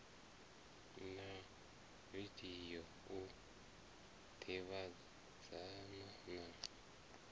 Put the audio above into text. na video u ḓivhadzana na